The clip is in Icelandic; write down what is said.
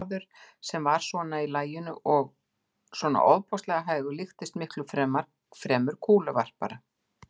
Maður sem var svona í laginu og svona ofboðslega hægur líktist miklu fremur kúluvarpara.